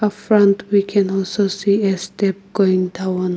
A front we can also see a step going down.